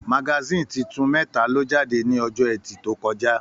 Magasin títún mẹta lo jáde ní ọjọ ẹtì to kọjá.